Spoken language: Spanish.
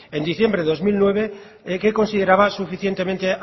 en diciembre de dos mil nueve que consideraba suficientemente